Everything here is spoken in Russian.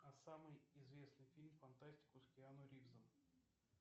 а самый известный фильм фантастику с киану ривзом